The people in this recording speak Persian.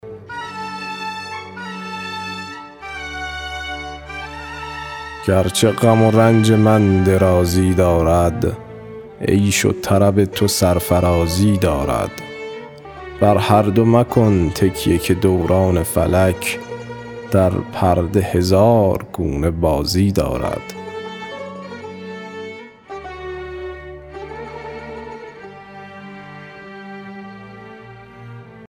گرچه غم و رنج من درازی دارد عیش و طرب تو سرفرازی دارد بر هر دو مکن تکیه که دوران فلک در پرده هزار گونه بازی دارد